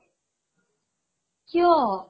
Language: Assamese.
কিয় ?